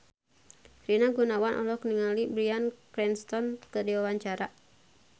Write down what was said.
Rina Gunawan olohok ningali Bryan Cranston keur diwawancara